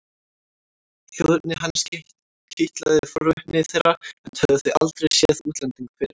Þjóðerni hans kitlaði forvitni þeirra enda höfðu þau aldrei séð útlending fyrr.